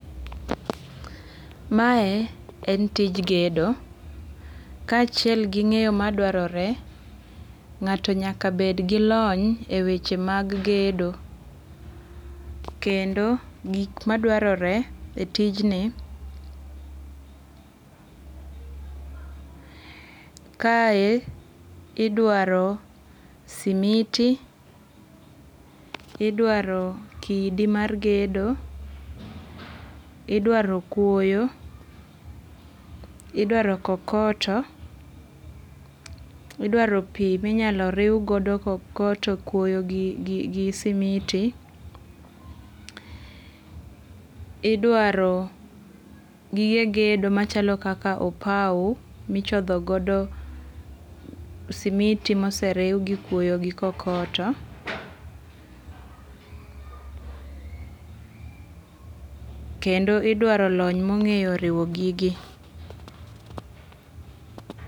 Mae en tij gedo. Kachiel gi ng'eyo madwarore, ng'ato nyaka bed gi lony e weche mag gedo. Kendo gik madwarore e tijni. Kae idwaro simiti. Idwaro kidi mar gedo. Idwaro kwoyo. Idwaro kokoto. Idwaro pi minyalo riwgodo kokoto, kwoyo, gi simiti. Idwaro gige gedo machalo kaka opaw michogo godo simiti moseriw gi kwoyo gi kokoto. Kendo idwaro lony mong'eyo riwo gigi.